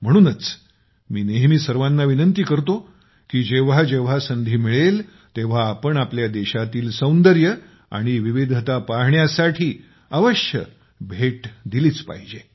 म्हणूनच मी नेहमी सर्वांना विनंती करतो की जेव्हा जेव्हा संधी मिळेल तेव्हा आपण आपल्या देशातील सौंदर्य आणि विविधता पाहण्यासाठी अवश्य भेट दिलीच पाहिजे